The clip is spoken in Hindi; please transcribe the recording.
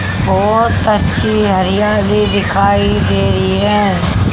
बहोत अच्छी हरियाली दिखाई दे रही है।